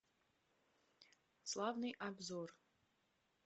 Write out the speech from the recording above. славный обзор